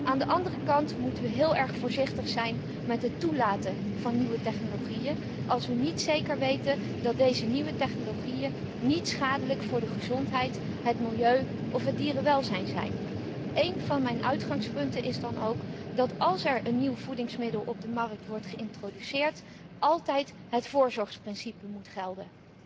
Aan de andere kant moeten we heel erg voorzichtig zijn met het toelaten van nieuwe technologieën als we niet zeker weten dat deze nieuwe technologieën niet schadelijk voor de gezondheid, het milieu of het dierenwelzijn zijn. Een van mijn uitgangspunten is dan ook dat als er een nieuw voedingsmiddel op de markt wordt geïntroduceerd, altijd het voorzorgsbeginsel moet gelden.